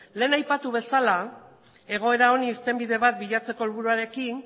lehen aipatu bezala egoera honi irtenbide bat bilatzeko helburuarekin